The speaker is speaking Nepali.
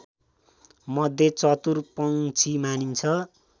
मध्ये चतुर पंक्षी मानिन्छ